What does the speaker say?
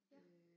Ja